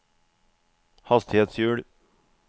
hastighetshjul